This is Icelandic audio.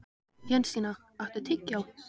Jensína, áttu tyggjó?